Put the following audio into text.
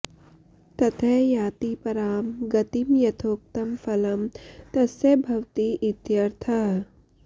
ततः याति परां गतिम् यथोक्तं फलं तस्य भवति इत्यर्थः